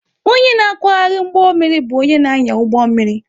Onye na-akwagharị ụgbọ mmiri bụ onye na-anya ụgbọ mmiri.